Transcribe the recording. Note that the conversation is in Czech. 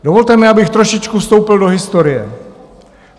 Dovolte mi, abych trošičku vstoupil do historie.